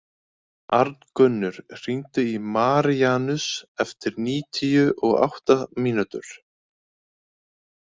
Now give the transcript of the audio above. Arngunnur, hringdu í Maríanus eftir níutíu og átta mínútur.